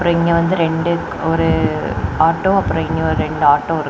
இங்க வந்து ரெண்டு ஒரு ஆட்டோ அப்புறம் இன்னொரு ரெண்டு ஆட்டோ இருக்கு.